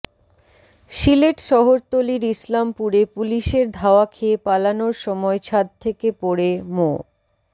সিলেট শহরতলির ইসলামপুরে পুলিশের ধাওয়া খেয়ে পালানোর সময় ছাদ থেকে পড়ে মো